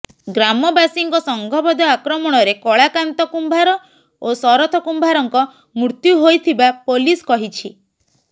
ଗ୍ରାମବାସୀଙ୍କ ସଂଘବଦ୍ଧ ଆକ୍ରମଣରେ କଳାକାନ୍ତ କୁମ୍ଭାର ଓ ଶରଥ କୁମ୍ଭାରଙ୍କ ମୃତ୍ୟୁ ହୋଇଥିବା ପୋଲିସ କହିଛି